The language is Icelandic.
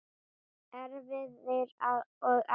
Erfðir og aldur